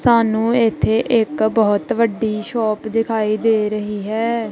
ਸਾਹਨੂੰ ਇਥੇ ਇੱਕ ਬੋਹਤ ਵਡੀ ਸ਼ੋਪ ਦਿਖਾਈ ਦੇ ਰਹੀ ਹੈ।